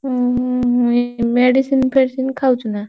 ହୁଁ